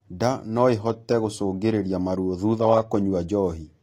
Nda noĩhote gũcũngĩrĩrĩa maruo thutha wa kũnyua njohi